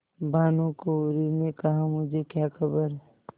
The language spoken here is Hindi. भानुकुँवरि ने कहामुझे क्या खबर